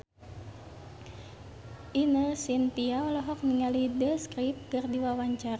Ine Shintya olohok ningali The Script keur diwawancara